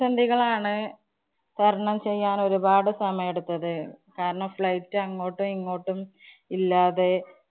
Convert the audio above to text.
പ്രതിസന്ധികളാണ് തരണംചെയ്യാന്‍ ഒരുപാട് സമയെടുത്തത്. കാരണം flight അങ്ങോട്ടും ഇങ്ങോട്ടും ഇല്ലാതെ